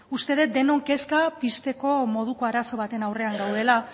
uste dut denon kezka pizteko moduko arazo baten aurrean gaudela